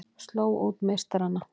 Slógu út meistarana